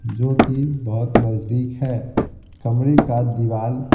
जो कि बहुत नजदीक है कमरे का दीवाल--